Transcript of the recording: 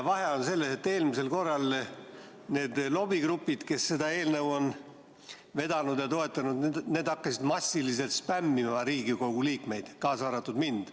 Vahe on selles, et eelmisel korral need lobigrupid, kes seda eelnõu on vedanud ja toetanud, hakkasid massiliselt spämmima Riigikogu liikmeid, kaasa arvatud mind.